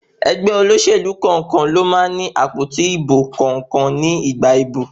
Ẹgbẹ́ olóṣèlú kọ̀ọ̀kan ló ní àpótí ìbò kọ̀ọ̀kan ní ìgbà ìbò.